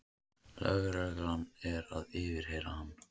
Lögregla er að yfirheyra hann